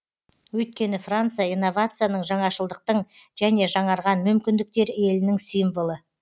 өйткені франция инновацияның жаңашылдықтың және жаңарған мүмкіндіктер елінің символы